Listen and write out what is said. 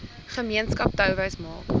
gemeenskap touwys maak